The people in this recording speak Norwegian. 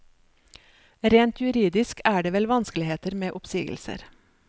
Rent juridisk er det vel vanskeligheter med oppsigelser.